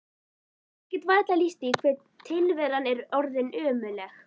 Ég get varla lýst því hve tilveran er orðin ömurleg.